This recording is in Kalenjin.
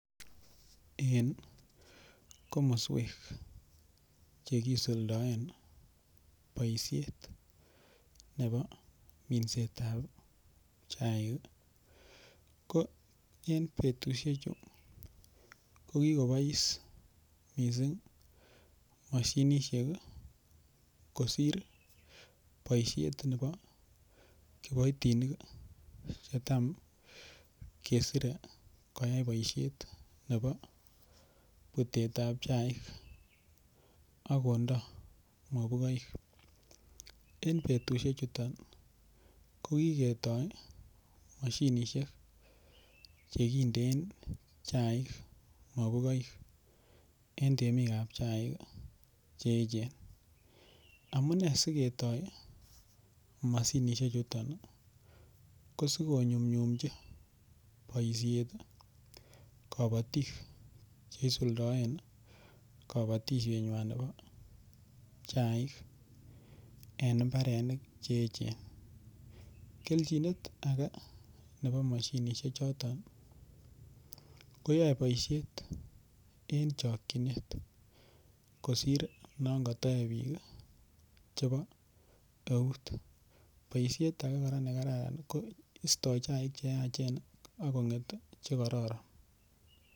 En komoswek chekisuldoen boishet nebo minsetab chaik ko en betushechu ko kikobois mising' mashinishek kosir boishet nebo kiboitinik netam kesire koyai boishet nebo putetab chaik akondo mabukoik en betushechuto ko kiketoi moshinishek chekinden chaik mabukoik en temikab chaik cheechen amune siketoi mashinishe chito ko sikonyumnyumchi boishet kabotik cheisuldoen kabotishenyuan nebo chaik en imbarenik cheechen kelchinet ake nebo moshinishek choton koyoei boishet en chokchinet kosir non kayoek biik chebo eut boishet age nekararan ko istoi chaik cheyachen akong'et chekororon